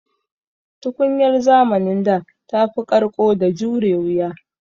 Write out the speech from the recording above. Tukunyar zamanin da tafi ƙarƙo da jure wuya.